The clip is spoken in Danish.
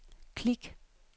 klik